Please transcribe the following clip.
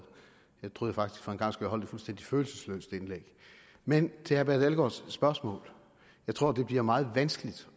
jeg troede faktisk for en gangs skyld holdt et fuldstændig følelsesløst indlæg men til herre per dalgaards spørgsmål jeg tror det bliver meget vanskeligt